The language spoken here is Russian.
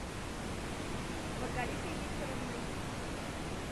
маргаритой викторовной